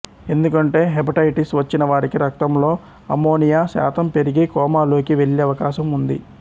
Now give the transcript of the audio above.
ఎందుకంటే హెపటైటిస్ వచ్చినవారికి రక్తంలో అమ్మోనియా శాతం పెరిగి కోమాలోకి వెళ్ళే అవకాశం ఉంది